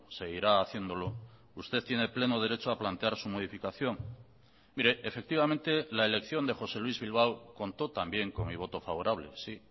seguirá haciéndolo usted tiene pleno derecho a plantear su modificación mire efectivamente la elección de josé luis bilbao contó también con mi voto favorable sí